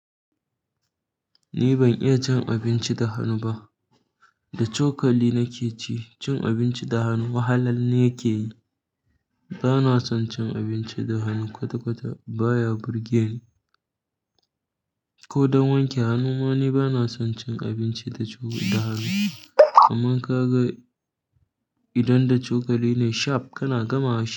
Ni ban iya cin abinci da hannu ba da cokali nake ci. Cin abinci da hannu wahala ne yake yi. Bana son cin abinci da hannu kwata-kwata. Baya burge ni ko don wanke hannu ma ne, bana son cin abinci da, da hannu. Kaman kaga idan da cokali ne sharp kana gama shi.